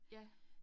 Ja